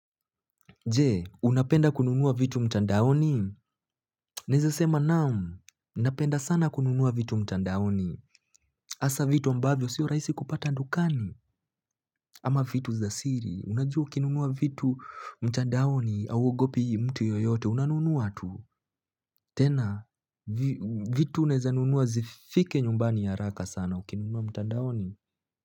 Jee, unapenda kununua vitu mtandaoni? Naezasema naam, napenda sana kununua vitu mtandaoni. Hasa vitu ambavyo sio rahisi kupata dukani. Ama vitu za siri, unajua ukinunua vitu mtandaoni hauogopi mtu yoyote, unanunua tu. Tena, vitu naezanunua zifike nyumbani haraka sana, ukinunua mtandaoni.